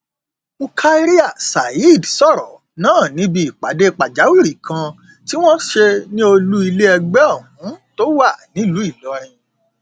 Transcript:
murkaria saheed sọrọ náà níbi ìpàdé pàjáwìrì kan tí wọn ṣe ní olú ilé ẹgbẹ ohun tó wà nílùú ìlọrin